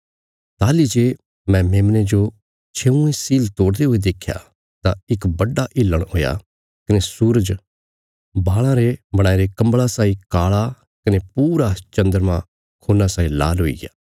ताहली जे मैं मेमने जो छेऊँइ सील तोड़दे हुये देख्या तां इक बड्डा हिलण हुआ कने सूरज बाल़ां रे बणाईरे कम्बल़ा साई काला कने पूरा चन्द्रमा खून्ना साई लाल हुईग्या